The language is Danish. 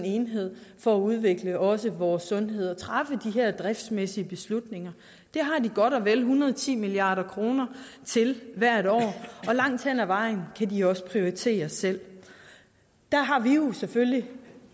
enhed for at udvikle også vores sundhed og træffe de her driftsmæssige beslutninger det har de godt og vel en hundrede og ti milliard kroner til hvert år og langt hen ad vejen kan de også prioritere selv der har vi jo selvfølgelig